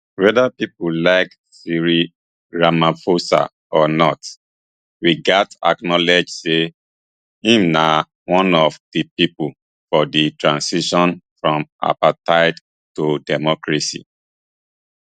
whether pipo like cyril ramaphosa or not we gatz acknowledge say im na one of di pipo for di transition from apartheid to democracy